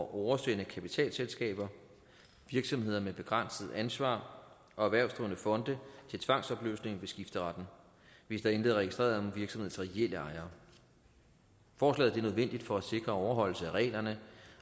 oversende kapitalselskaber virksomheder med begrænset ansvar og erhvervsdrivende fonde til tvangsopløsning ved skifteretten hvis der intet er registreret om virksomhedens reelle ejere forslaget er nødvendigt for at sikre overholdelse af reglerne